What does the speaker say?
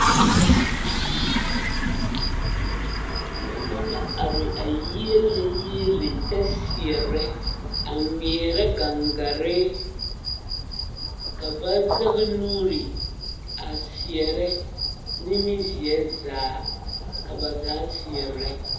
Noba la are a yiele yiele kyɛ seɛ a ŋmeɛrɛ gangare ka ba zɛge nuuri a seɛrɛ nimizeɛ zaa ka ba zaa seɛrɛ.